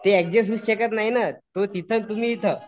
ते अड्जस्ट होऊ शकत नाही नं ते इथं तुम्ही तिथं.